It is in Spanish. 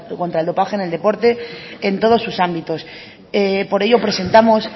contra el dopaje en el deporte en todos sus ámbitos por ello presentamos